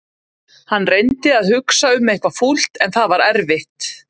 Hann reyndi að hugsa um eitthvað fúlt en það var erfitt.